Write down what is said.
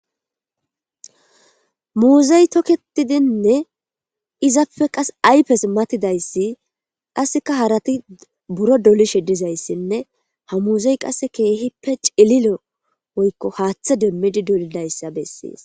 muuzey toketidinne izapfe qas aypes matidayssi qasseka harati buro dolishe dizayssinne ha muuzey qasse keehippe cililo woykko haaththe demmidi dolidayssa bessees